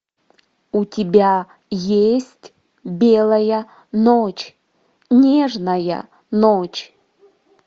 у тебя есть белая ночь нежная ночь